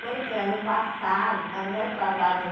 Quando foi ano passado, ano retrasado,